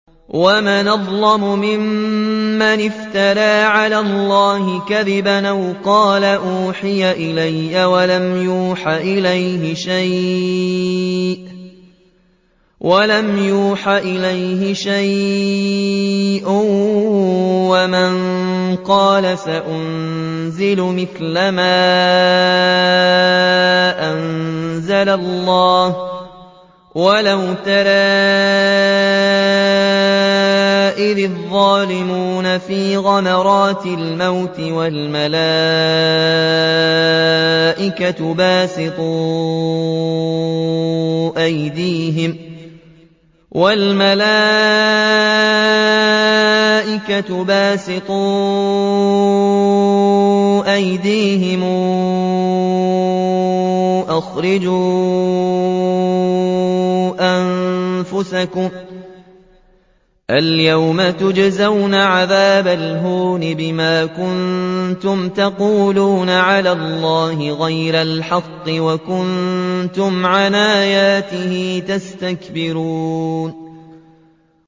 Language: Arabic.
وَمَنْ أَظْلَمُ مِمَّنِ افْتَرَىٰ عَلَى اللَّهِ كَذِبًا أَوْ قَالَ أُوحِيَ إِلَيَّ وَلَمْ يُوحَ إِلَيْهِ شَيْءٌ وَمَن قَالَ سَأُنزِلُ مِثْلَ مَا أَنزَلَ اللَّهُ ۗ وَلَوْ تَرَىٰ إِذِ الظَّالِمُونَ فِي غَمَرَاتِ الْمَوْتِ وَالْمَلَائِكَةُ بَاسِطُو أَيْدِيهِمْ أَخْرِجُوا أَنفُسَكُمُ ۖ الْيَوْمَ تُجْزَوْنَ عَذَابَ الْهُونِ بِمَا كُنتُمْ تَقُولُونَ عَلَى اللَّهِ غَيْرَ الْحَقِّ وَكُنتُمْ عَنْ آيَاتِهِ تَسْتَكْبِرُونَ